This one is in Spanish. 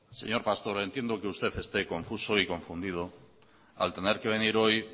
señor pastor entiendo que usted esté confuso y confundido al tener que venir hoy